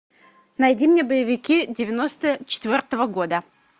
найди мне боевики девяносто четвертого года